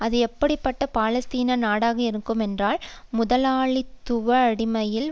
அது எப்படி பட்ட பாலஸ்தீன நாடாக இருக்குமென்றால் முதலாளித்துவ அடிப்படையில்